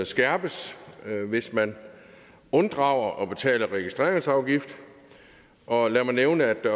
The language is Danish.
skærpes hvis man unddrager at betale registreringsafgift og lad mig nævne at